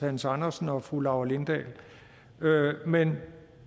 hans andersen og fru laura lindahl men